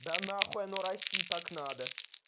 да нахуй оно россии так надо